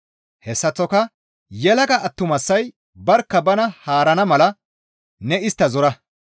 Hessaththoka yelaga attumasay barkka bana haarana mala ne istta zora.